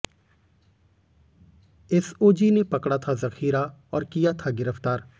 SOG ने पकड़ा था जखीरा और किया था गिरफ्तार